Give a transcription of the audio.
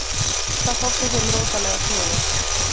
Það þótti þeim rosalega sniðugt.